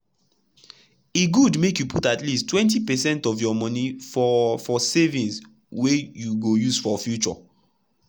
e good make you put at least 20 percent of your monie for for savings wey you go use for future.